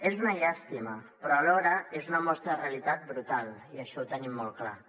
és una llàstima però alhora és una mostra de realitat brutal i això ho tenim molt clar